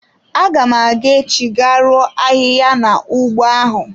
Aga m aga echi ga ruo ahịhịa na ụgbọ ahụ.